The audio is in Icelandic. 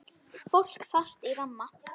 Fólk fast í ramma?